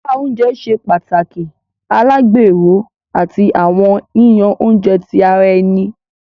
Apá oúnjẹ ṣe pàtàkì alagbero, àti awọn yiyan oúnjẹ ti ara ẹni.